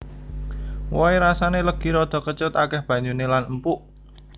Wohe rasané legi rada kecut akéh banyuné lan empuk